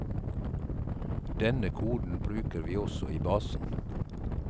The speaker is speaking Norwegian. Denne koden bruker vi også i basen.